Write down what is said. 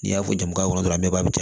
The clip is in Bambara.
N'i y'a fɔ juka yɔrɔ dɔrɔn a bɛɛ b'a bi